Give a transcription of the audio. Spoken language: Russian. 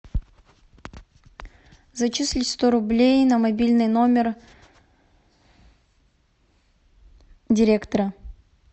зачисли сто рублей на мобильный номер директора